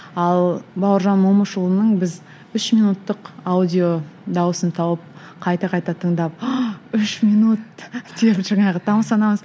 ал бауыржан момышұлының біз үш минуттық аудио дауысын тауып қайта қайта тыңдап үш минут деп жаңағы тамсанамыз